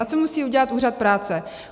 A co musí udělat úřad práce?